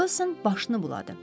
Wilson başını buladı.